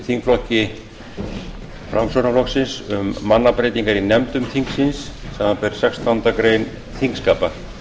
þingflokki framsóknarflokksins um mannabreytingar í nefndum þingsins samanber sextándu grein þingskapa